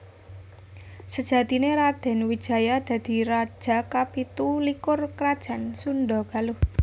Sejatiné Radèn Wijaya dadi raja kapitu likur Krajan Sundha Galuh